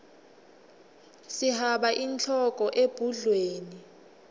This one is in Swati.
sihaba inhloko ebhudlweni